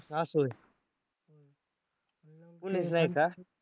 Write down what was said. असं होय कोणीच नाही का?